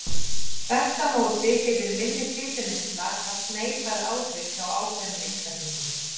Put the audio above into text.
þvert á móti getur minni fituneysla haft neikvæð áhrif hjá ákveðnum einstaklingum